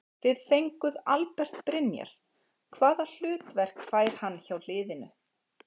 Þið fenguð Albert Brynjar hvaða hlutverk fær hann hjá liðinu?